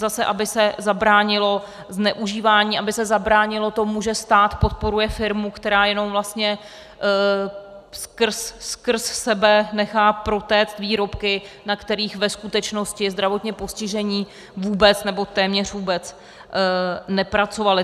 Zase aby se zabránilo zneužívání, aby se zabránilo tomu, že stát podporuje firmu, která jenom vlastně skrz sebe nechá protéct výrobky, na kterých ve skutečnosti zdravotně postižení vůbec nebo téměř vůbec nepracovali.